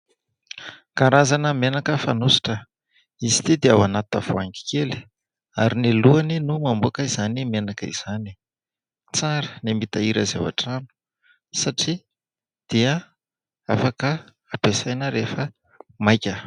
Karazana menaka fanosotra izy ity dia ao anaty tavoahangy kely ary ny lohany no mamoaka izany menaka izany. Tsara ny mitahiry azy ao an-trano satria dia afaka ampiasaina rehefa maika.